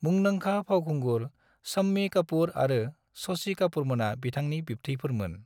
मुंदांखा फावखुंगुर शम्मी कपुर आरो शशि कपुरमोना बिथांनि बिबथैफोरमोन।